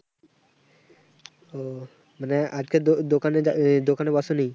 উহ মানে আজকে দো~দোকানে দোকানে কেউ আসেনি।